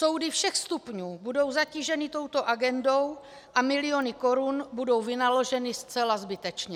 Soudy všech stupňů budou zatíženy touto agendou a miliony korun budou vynaloženy zcela zbytečně.